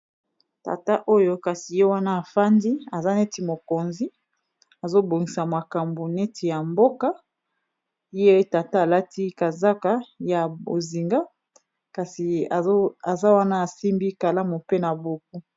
Tata oyo kasi ye wana afandi aza neti mokonzi, azobongisa makambo neti ya mboka ye tata alati kazaka ya bozinga kasi aza wana asimbi kalamu mpe na buku.